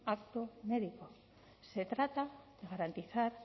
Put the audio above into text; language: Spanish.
acto médico se trata de garantizar